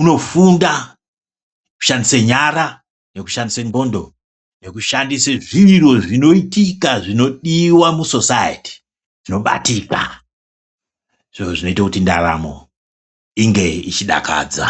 Unofunda nokushandise nyara, nokushandise ndxondo nokushandisa zviro zvinoititika zvinodiwa musosayiti zvinobatika. Zviro zvinoite kuti ndaramo inge ichidakadza.